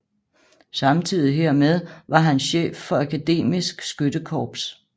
Samtidig hermed var han chef for Akademisk Skyttekorps